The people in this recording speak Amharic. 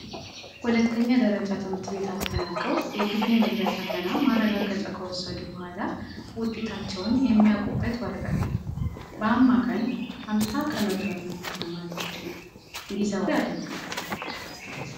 ሁለተኛ ደረጃ ትምህርት ቤት አጠናቀው የግቢ መግቢያ ፈተና ማረጋገጫ ከወሰዱ በኋላ ውጤጣቸውን የሚያቁበት ወረቀት ነው ። በአማካይ አምሳ ከመቶ ያመጣ ተማሪ ብቻ እንዲዘዋወር ይደረጋል።